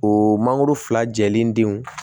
O mangoro fila jɛlen denw